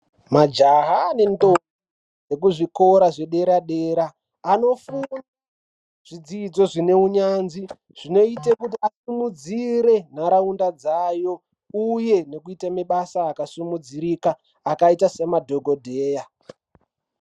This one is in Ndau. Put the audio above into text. Majaha nendombi ekuzvikora zvederadera anofunde zvidzidzo zvine unyanzvi zvinoite kuti vasimudzire nharaunda dzayo uye nekuite mabasa akasimudzirika akaite semadhokodheya.